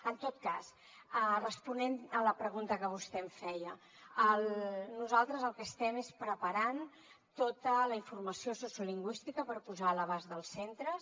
en tot cas responent a la pregunta que vostè em feia nosaltres el que estem és preparant tota la informació sociolingüística per posar a l’abast dels centres